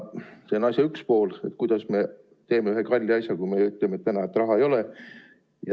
See on asja üks pool, et kuidas me teeme ühe kalli asja, kui me ütleme, et raha ei ole.